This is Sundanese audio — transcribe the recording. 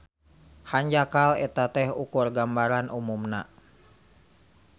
Hanjakal eta teh ukur gambaran umumna.